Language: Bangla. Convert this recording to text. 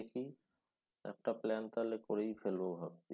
দেখি একটা plan তাহলে করেই ফেলব ভাবছি